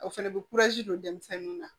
O fɛnɛ bɛ don denmisɛnninw na